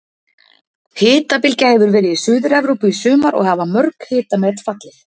Hitabylgja hefur verið í Suður-Evrópu í sumar og hafa mörg hitamet fallið.